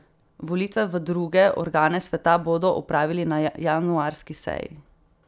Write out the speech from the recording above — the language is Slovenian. Volitve v druge organe sveta bodo opravili na januarski seji.